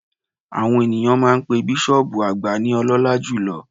Àwọn ènìyàn máa n pe bísọ̀ọ̀bù àgbà ní Ọlọ́lá jùlo